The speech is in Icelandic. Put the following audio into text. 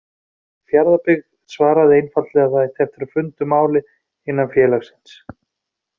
Fjarðabyggð svaraði einfaldlega að það ætti eftir að funda um málið innan félagsins.